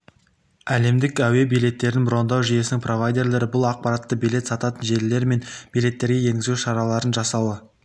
әлемдік әуе билеттерін брондау жүйесінің провайдерлері бұл ақпаратты билет сататын желілер мен билеттерге енгізу шараларын жасауы